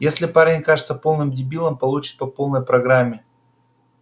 если парень окажется полным дебилом получит по полной программе